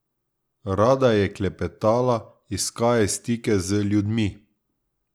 Rada je klepetala, iskaje stike z ljudmi.